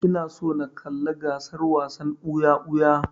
Ina so na kalla gasar wasan ɓuya-ɓuya.